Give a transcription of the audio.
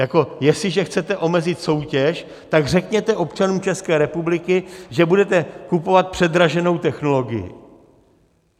Jako jestliže chcete omezit soutěž, tak řekněte občanům České republiky, že budete kupovat předraženou technologii.